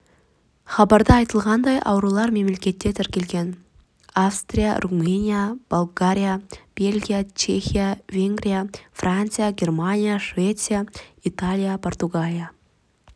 хабарда айтылғандай аурулар мемлекетте тіркелген австрия румыния болгария бельгия чехия венгрия франция германия швеция италия португалия